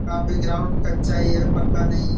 काफी ग्राउंड कच्चा ही है पक्का नहीं है।